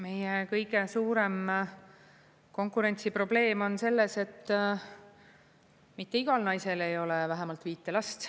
Meie kõige suurem konkurentsiprobleem on selles, et mitte igal naisel ei ole vähemalt viite last.